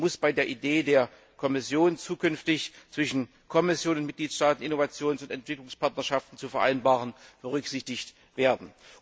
Dies muss bei der Idee der Kommission, zukünftig zwischen Kommission und Mitgliedstaaten Innovations und Entwicklungspartnerschaften zu vereinbaren, berücksichtigt werden.